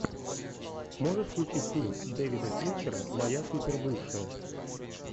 можешь включить фильм дэвида финчера моя супербывшая